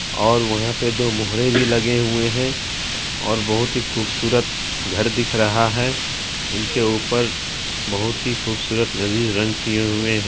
और वहा पे दो मोहरे भी लगे हुए है और बहुत ही खूबसूरत घर दिख रहा है उनके ऊपर बहुत ही खूबसूरत लजीज रंग किए हुए है।